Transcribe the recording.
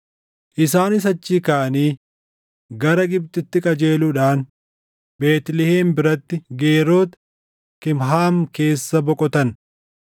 Isaanis achii kaʼanii gara Gibxitti qajeeluudhaan Beetlihem biratti Geeroti Kimhaam keessa boqotan;